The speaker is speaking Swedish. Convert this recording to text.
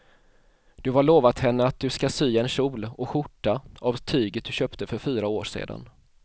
Du har lovat henne att du ska sy en kjol och skjorta av tyget du köpte för fyra år sedan.